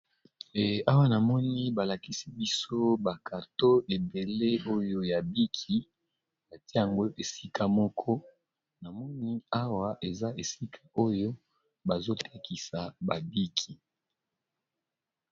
Awa na moni balakisi biso bakarto ebele oyo ya biki atia yango esika moko na moni awa eza esika oyo bazotakisa babiki. awa